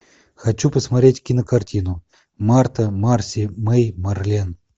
хочу посмотреть кинокартину марта марси мэй марлен